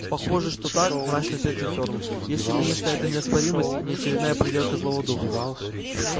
похоже что так мрачно ответил фёрл если конечно эта неоспоримость не очередная проделка злого духа